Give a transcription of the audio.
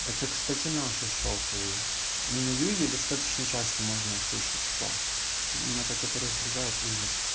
это кстати наши шокают на юге достаточно часто можно услышать шо это меня так это раздражает ужас